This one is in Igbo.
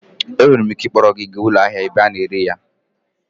Enwere m ike ịkpọrọ gị gaa ụlọ ahịa ebe a na-ere ya